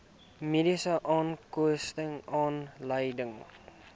mediese onkoste aanleiding